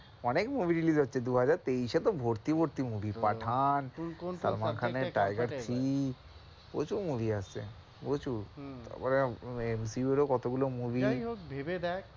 অনেক movie release হচ্ছে, দুহাজার তেইশে তো ভর্তি ভর্তি movie পাঠান, সালমান খানের tiger three প্রচুর movie আসছে প্রচুর, তারপর কতগুলো movie যাইহোক ভেবে দেখ,